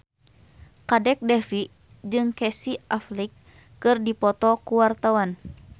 Kadek Devi jeung Casey Affleck keur dipoto ku wartawan